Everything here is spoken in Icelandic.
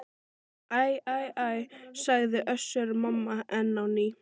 Æ æ æ, sagði Össur-Mamma enn á ný.